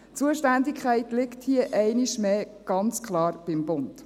Die Zuständigkeit liegt hier einmal mehr ganz klar beim Bund.